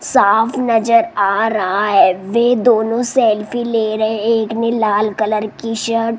साफ नजर आ रहा है वे दोनों सेल्फी ले रहे एक में लाल कलर की शर्ट --